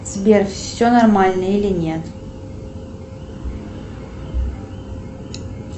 сбер все нормально или нет